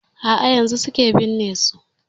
A'a yanzun suke binne su.